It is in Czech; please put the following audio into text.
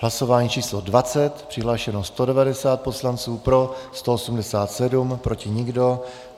Hlasování číslo 20. Přihlášeno 190 poslanců, pro 187, proti nikdo.